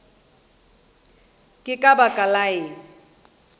ke ka baka la eng